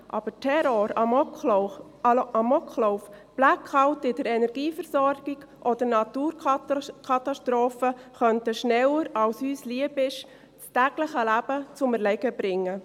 Aber Terror, Amoklauf, Blackout in der Energieversorgung oder Naturkatastrophen könnten das tägliche Leben schneller, als uns lieb ist, zum Erliegen bringen.